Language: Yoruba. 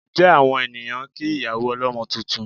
Ǹjẹ́ àwọn ènìyàn ń kí ìyá ọlọ́mọ tuntun?